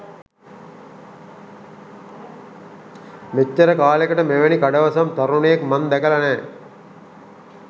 මෙච්චර කාලෙකට මෙවැනි කඩවසම් තරුණයෙක් මං දැකල නෑ.